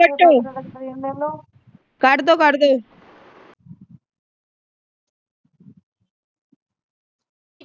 ਕਟਡੋ ਕਟਡੋ